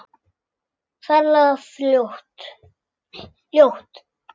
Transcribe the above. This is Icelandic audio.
Ferlega ljót.